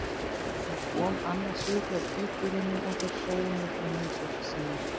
Ég kom annars við hjá tvíburunum og þeir sögðu mér frá heimsókn þinni.